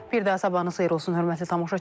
Bir daha sabahınız xeyir olsun, hörmətli tamaşaçılar.